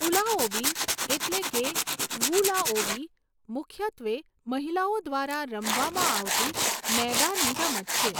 ઊલાઓબી એટલે કે વૂ લાઓબી મુખ્યત્વે મહિલાઓ દ્વારા રમવામાં આવતી મેદાની રમત છે.